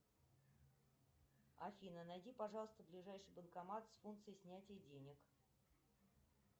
афина найди пожалуйста ближайший банкомат с функцией снятия денег